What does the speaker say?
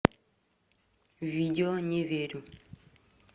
видео не верю